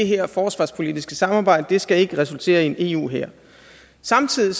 her forsvarspolitiske samarbejde ikke skal resultere i en eu hær samtidig